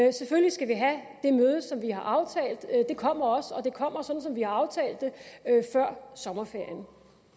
og selvfølgelig skal vi have det møde som vi har aftalt det kommer også og det kommer sådan som vi har aftalt det før sommerferien